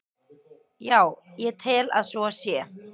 Já, ég tel að svo sé.